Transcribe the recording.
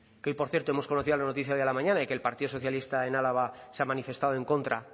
que hoy por cierto hemos conocido la noticia de hoy a mañana de que el partido socialista en álava se ha manifestado en contra